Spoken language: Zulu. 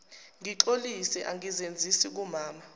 ngixolisa angizenzisi kumama